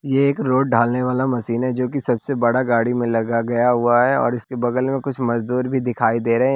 यह एक रोड ढालने वाला मशीन है जो कि सबसे बड़ा गाड़ी में लगा गया हुआ है और इसके बगल में कुछ मजदूर भी दिखाई दे रहे हैं।